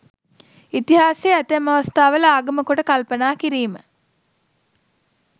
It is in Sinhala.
ඉතිහාසය ඇතැම් අවස්ථාවල ආගම කොට කල්පනා කිරීම